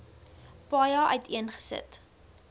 paja uiteen gesit